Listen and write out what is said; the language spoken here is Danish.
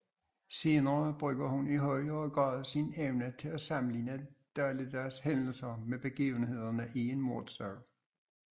Senere bruger hun i højere grad sin evne til at sammenligne dagligdags hændelser med begivenhederne i en mordsag